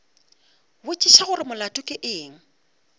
botšiša gore molato ke eng